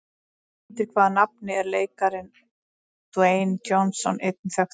Undir hvaða nafni er leikarinn Dwayne Johnson einnig þekktur?